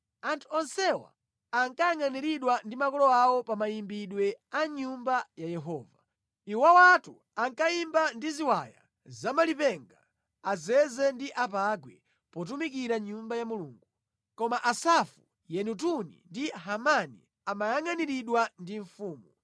Anthu onsewa ankayangʼaniridwa ndi makolo awo pa mayimbidwe a mʼNyumba ya Yehova. Iwowatu ankayimba ndi ziwaya zamalipenga, azeze ndi apangwe potumikira mʼNyumba ya Mulungu. Koma Asafu, Yedutuni ndi Hemani amayangʼaniridwa ndi mfumu.